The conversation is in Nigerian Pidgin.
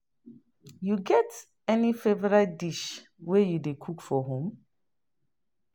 You get any favorite dish wey you dey cook for home?